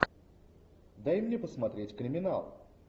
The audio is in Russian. дай мне посмотреть криминал